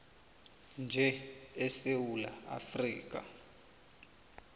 nje esewula afrika